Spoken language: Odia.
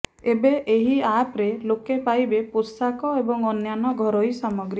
ଏବେ ଏହି ଆପରେ ଲୋକେ ପାଇବେ ପୋଷାକ ଏବଂ ଅନ୍ୟାନ୍ୟ ଘରୋଇ ସାମଗ୍ରୀ